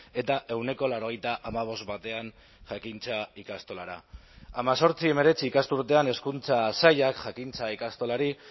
eta ehuneko laurogeita hamabost batean jakintza ikastolara hemezortzi hemeretzi ikasturtean hezkuntza sailak jakintza ikastolari